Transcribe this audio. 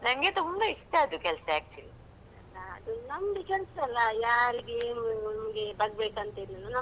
ಅಲಾ ಅದು ನಮ್ದೆ ಕೆಲ್ಸ ಅಲ್ಲಾ ಯಾರಿಗೆ ಏನೂ ನಮ್ಗೆ ಬಗ್ಗ್ಬೇಕಂತಿಲ್ಲಲ್ಲ ನಮ್ದು ನಮ್ಗೆ ಹೇಗ್ ಹೇಗ್ ಆಗ್ತದಾ ಹ?